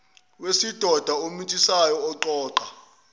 wesidoda omithisayo oqoqa